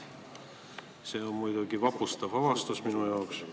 See on muidugi vapustav avastus minu jaoks.